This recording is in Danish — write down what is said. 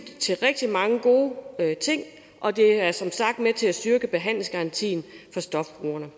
til rigtig mange gode ting og det er som sagt med til at styrke behandlingsgarantien for stofbrugerne